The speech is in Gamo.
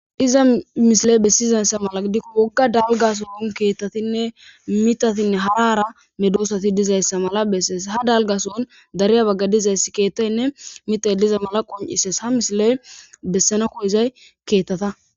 Diza mishile bessizayssa mala gdikko wogga dalgaso hun keettatinne mitatinne harara medoosati dizayssa mala bessees ha dalgason dariya bagga dizayss keettaynne mitay diza mala qon'ises ha misiley bessana koyizay keettata.